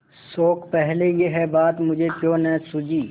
शोक पहले यह बात मुझे क्यों न सूझी